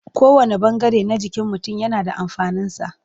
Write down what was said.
Kowanne ɓangare na jikin mutum yana da amfaninsa.